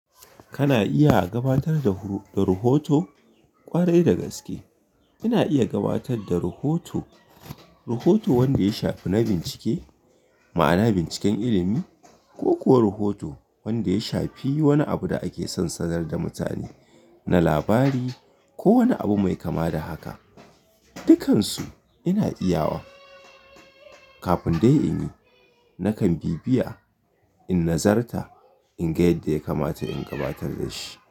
Kana iya gabatar da huru-- da rahoto kwarai da gaske. Ina iya gabatar da rahoto, rahoto wanda ya shafi na bincike, ma'ana binciken ilimi ko kuwa rahoto wanda ya shafi wani abu da ake son sanar da mutane na labari ko wani abu mai kama da haka. Dukansu ina iya wa. Kafin dai in yi, nakan bibbiya in nazarta in ga yadda ya kamata in gabatar da shi.